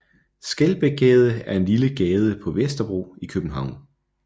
Skelbækgade er en lille gade på Vesterbro i København